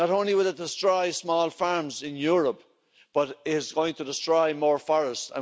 Not only will it destroy small farms in Europe but it is going to destroy more forests.